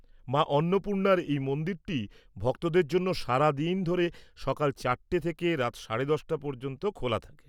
মা অন্নপূর্ণার এই মন্দিরটি ভক্তদের জন্য সারাদিন ধরে সকাল চারটে থেকে রাত সাড়ে দশটা পর্যন্ত খোলা থাকে।